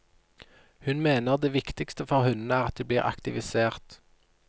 Hun mener det viktigste for hundene er at de blir aktivisert.